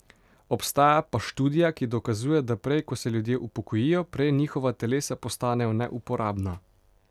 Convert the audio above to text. Obstaja pa študija, ki dokazuje, da prej, ko se ljudje upokojijo, prej njihova telesa postanejo neuporabna.